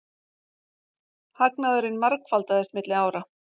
Hagnaðurinn margfaldaðist milli ára